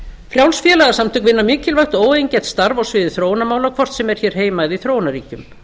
frjáls félagasamtök vinna mikilvægt og óeigingjarnt starf á sviði þróunarmála hvort sem er hér heima eða í þróunarríkjum